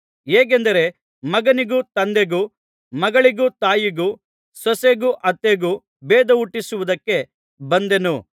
ಹೇಗೆಂದರೆ ಮಗನಿಗೂ ತಂದೆಗೂ ಮಗಳಿಗೂ ತಾಯಿಗೂ ಸೊಸೆಗೂ ಅತ್ತೆಗೂ ಭೇದಹುಟ್ಟಿಸುವುದಕ್ಕೆ ಬಂದೆನು